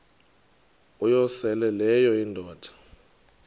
uyosele leyo indoda